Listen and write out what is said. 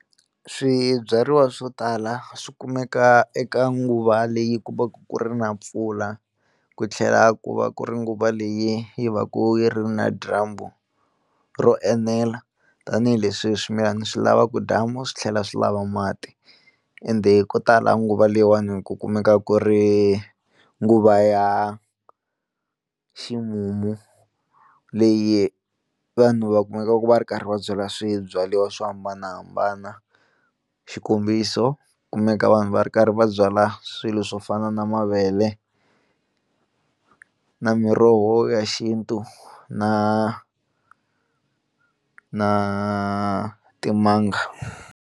Swibyariwa swo tala swi kumeka eka nguva leyi ku vaka ku ri na mpfula ku tlhela ku va ku ri nguva leyi yi va ku yi ri na dyambu ro enela tanihileswi swimilana swi lavaka dyambu, swi tlhela swi lava mati ende ko tala nguva leyiwani ku kumeka ku ri nguva ya ximumu leyi vanhu va kumekaka va ri karhi va byala swibyariwa swo hambanahambana xikombiso kumeka vanhu va ri karhi va byala swilo swo fana na mavele na miroho ya xintu na na timanga.